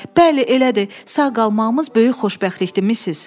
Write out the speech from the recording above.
Bəli, elədir, sağ qalmağımız böyük xoşbəxtlikdir, Missis.